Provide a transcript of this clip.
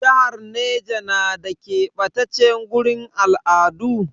Jihar Neja na da ƙebatace gurin al'adu?